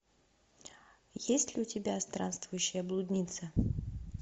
есть ли у тебя странствующая блудница